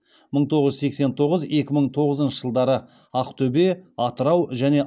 мың тоғыз жүз сексен тоғыз екі мың тоғызыншы жылдары ақтөбе атырау және